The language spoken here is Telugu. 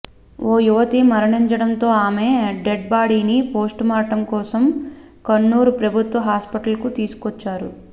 ఓ యువతి మరణించడంతో ఆమె డేడ్ బాడీ ని పోస్ట్ మార్టం కోసం కన్నూర్ ప్రభుత్వ హాస్పిటల్ కు తీసుకొచ్చారు